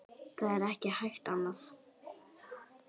Það er ekki hægt annað.